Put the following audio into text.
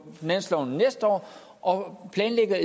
næste år og planlægger